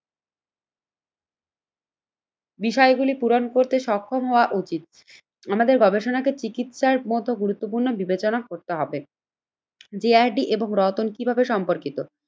বিষয়গুলি পূরণ করতে সক্ষম হওয়া উচিত। আমাদের গবেষণাকে চিকিৎসার মতো গুরুত্বপূর্ণ বিবেচনা করতে হবে। যে আর ডি এবং রতন কিভাবে সম্পর্কিত?